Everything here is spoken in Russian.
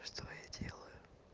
что я делаю